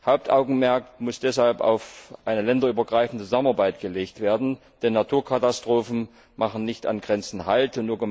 Das Hauptaugenmerk muss deshalb auf eine länderübergreifende Zusammenarbeit gelegt werden, denn Naturkatastrophen machen nicht an Grenzen halt.